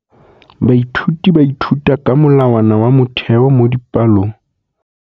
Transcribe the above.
Baithuti ba ithuta ka molawana wa motheo mo dipalong.